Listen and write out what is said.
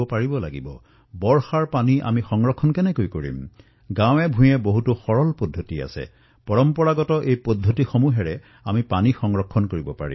গাঁৱেগাঁৱে বৰষুণৰ পানী আমি কিদৰে সংৰক্ষণ কৰিব পাৰিম পৰম্পৰাগতভাৱে বহু সৰল উপায় আছে সেই সৰল উপায়সমূহৰ দ্বাৰা আমি পানী সংৰক্ষণ কৰিব পাৰো